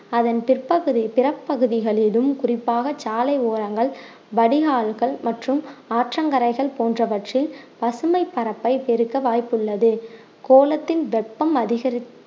அதன் பிற்ப்பகுதி பிறப்பகுதிகளிலும் குறிப்பாக சாலை ஓரங்கள் வடிகால்கள் மற்றும் ஆற்றங்கரைகள் போன்றவற்றில் பசுமை பரப்பை பெருக்க வாய்ப்புள்ளது கோலத்தின் வெப்பம் அதிகரிப்~